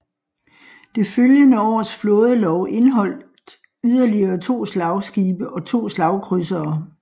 Det følgende års flådelov indholdt yderligere to slagskibe og to slagkrydsere